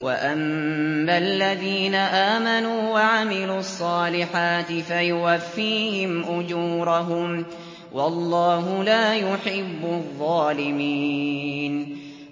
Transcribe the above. وَأَمَّا الَّذِينَ آمَنُوا وَعَمِلُوا الصَّالِحَاتِ فَيُوَفِّيهِمْ أُجُورَهُمْ ۗ وَاللَّهُ لَا يُحِبُّ الظَّالِمِينَ